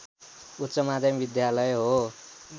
उच्च माध्यमिक विद्यालय हो